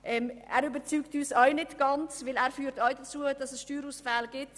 Er überzeugt uns auch nicht ganz, weil auch er zu Steuerausfällen führt.